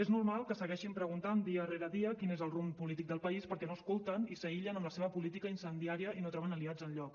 és normal que es segueixin preguntant dia rere dia quin és el rumb polític del país perquè no escolten i s’aïllen amb la seva política incendiària i no troben aliats enlloc